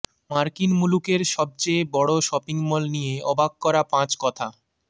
মার্কিন মুলুকের সবচেয়ে বড় শপিং মল নিয়ে অবাক করা পাঁচ কথা